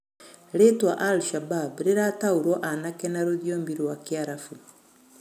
Ritwa al- shabab rirataũrwo anake na rũthĩomi rwa kiarabu